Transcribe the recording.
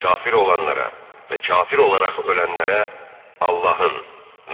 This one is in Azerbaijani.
Kafir olanlara və kafir olaraq ölənlərə Allahın,